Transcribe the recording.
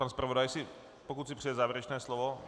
Pan zpravodaj, pokud si přeje závěrečné slovo.